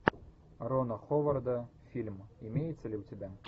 рона ховарда фильм имеется ли у тебя